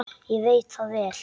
Ég veit það vel!